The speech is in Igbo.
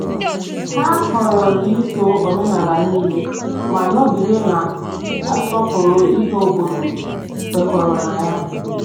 Hà họrọghị iso omenala niile, ma nọgide na-asọpụrụ ihe obodo kwekọrọ na ya.